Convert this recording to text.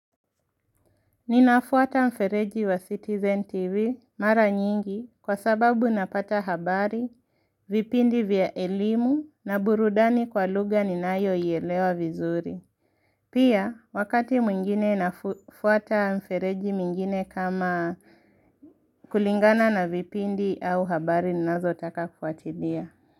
Ninafuata mfereji wa Citizen TV mara nyingi kwa sababu napata habari, vipindi vya elimu na burudani kwa lugha ninayoielewa vizuri. Pia, wakati mwingine nafuata mfereji mwingine kama kulingana na vipindi au habari, ninazotaka kufuatilia.